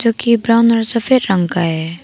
के ब्राऊन और सफेद रंग का है।